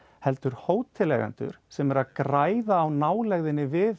heldur hóteleigendur sem eru að græða á nálægðinni við